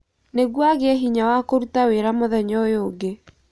Nĩguo agĩe hinya wa kũruta wĩra mũthenya ũyũ ũngĩ